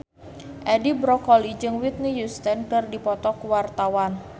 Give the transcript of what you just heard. Edi Brokoli jeung Whitney Houston keur dipoto ku wartawan